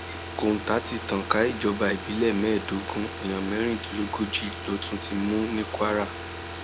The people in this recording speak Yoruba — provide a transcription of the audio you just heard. kọńtà ti tàn ká ìjọba ìbílẹ mẹẹẹdógún èèyàn mẹrìndínlógójì ló tún ti mú ní kwara